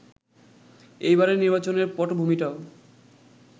এইবারের নির্বাচনের পটভূমিটাও